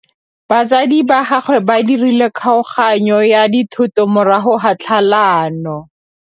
Batsadi ba gagwe ba dirile kgaoganyô ya dithoto morago ga tlhalanô.